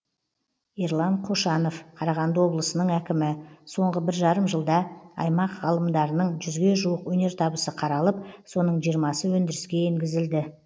ерлан қошанов қарағанды облысының әкімі соңғы бір жарым жылда аймақ ғалымдарының жүзге жуық өнертабысы қаралып соның жырмасы өндіріске енгізілді